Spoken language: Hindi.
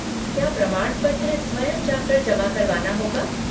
क्या प्रमाणपत्र स्वयं जाकर जमा करवाना होगा?